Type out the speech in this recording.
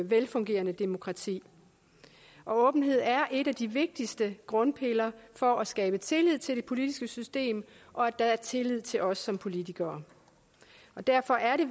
velfungerende demokrati og åbenhed er en af de vigtigste grundpiller for at skabe tillid til det politiske system og at der er tillid til os som politikere og derfor er det